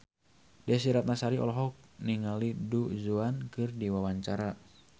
Desy Ratnasari olohok ningali Du Juan keur diwawancara